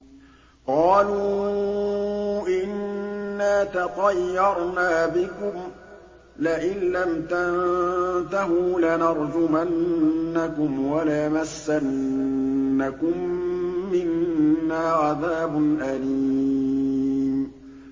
قَالُوا إِنَّا تَطَيَّرْنَا بِكُمْ ۖ لَئِن لَّمْ تَنتَهُوا لَنَرْجُمَنَّكُمْ وَلَيَمَسَّنَّكُم مِّنَّا عَذَابٌ أَلِيمٌ